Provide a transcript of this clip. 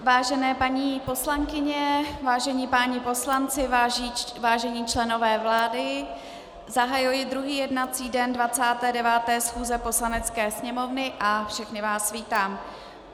Vážené paní poslankyně, vážení páni poslanci, vážení členové vlády, zahajuji druhý jednací den 29. schůze Poslanecké sněmovny a všechny vás vítám.